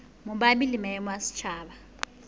mabapi le maemo a setjhaba